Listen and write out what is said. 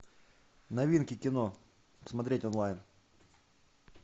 новинки кино смотреть онлайн